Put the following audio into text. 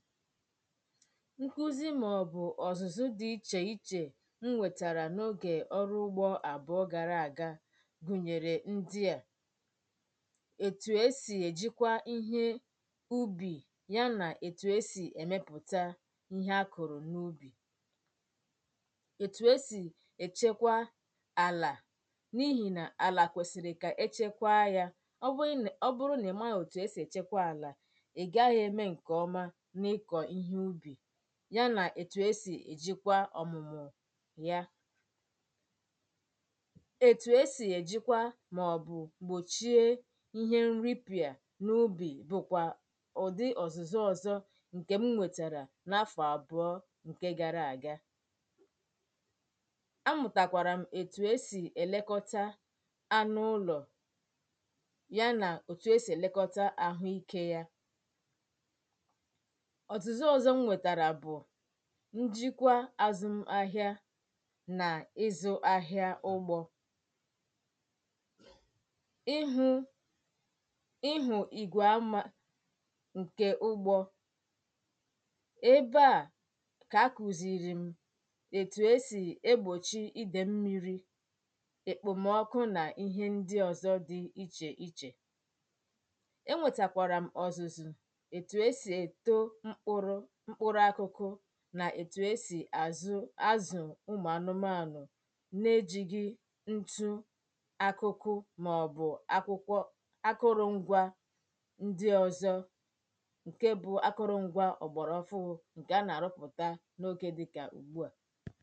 nkúzi maọ̀bụ̀ ọ̀zụ̀zụ dị ichè ichè nwètàrà n’ogè ọrụ ugbȯ àbụọ gara àga gụ̀nyèrè ndị à ètù esì èjikwa ihe ubì ya nà ètù esì èmepụ̀ta ihe akụ̀rụ̀ n’ubì ètù esì èchekwa àlà n’ihì nà àlà kwèsìrì kà echėkwa yȧ ọ bụrụ nà ị̀ma àọ̀tụ̀ esì èchekwa àlà ya nà ètù esì èjikwa ọ̀mụ̀mụ̀ ya ètù esì èjikwa màọbụ̀ gbòchie ihe nripịà n’ubì bụ̀kwà ụ̀dị ọ̀zụ̀zụ̀ ọ̀zọ̀ ǹkè m wètàrà n’afọ̀ àbụ̀ọ ǹke gara àga a mụ̀tàkwàrà m̀ ètù esì èlekọta anụ ụlọ̀ ya nà ètù esì èlekọta àhụ ikė ya ọ̀tùzu ọzọ m nwètàrà bụ̀ ǹjìkwa azụm ahịa nà ịzụ̇ ahịa ụgbọ íhú íhú ìgwè aṁ ǹkè ugbȯ ebe a kà kụ̀zìrì m ètù e sì egbòchi idè mmi̇ri èkpòmọkụ nà ihe ndi ọ̀zọ dị ichè ichè e nwètàkwàrà m ọzụ̇zụ̀ n’ètù e sì àzụ azụ̀ ụmụ̀ anụmanụ̀ na-ejì gị ntụ akụkụ màọ̀bụ̀ akwụkwọ akụrụ̇ ngwȧ ndị ọ̀zọ ǹke bụ akụrụ̇ ngwȧ ọ̀gbọ̀rọ̀ fụ hụ ǹkè a nà-àrụpụ̀ta n’okė dịkà ugbuà